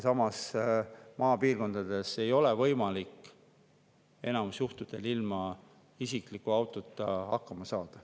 Maapiirkondades ei ole enamikul juhtudel võimalik ilma isikliku autota hakkama saada.